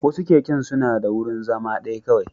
Wasu keken suna da wurin zama ɗaya kawai